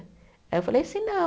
Aí eu falei assim, não.